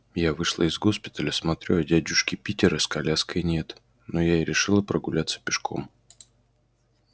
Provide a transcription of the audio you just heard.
я вышла из госпиталя смотрю а дядюшки питера с коляской нет ну я и решила прогуляться пешком